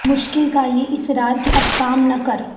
مشکل کا یہ اصرار کہ اب کام نہ کر